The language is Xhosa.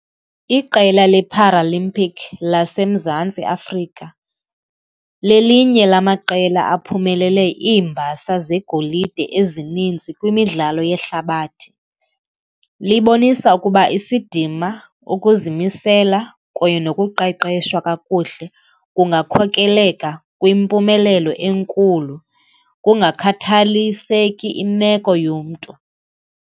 Iqela le-paralympic laseMzantsi Afrika lelinye lamaqela aphumelele iimbasa zegolide ezininzi kwimidlalo yehlabathi. Libonisa ukuba isidima, ukuzimisela kunye nokuqeqeshwa kakuhle kungakhokeleka kwimpumelelo enkulu kungakhathaliseki imeko yomntu.